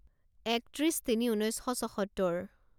একত্ৰিছ তিনি ঊনৈছ শ ছসত্তৰ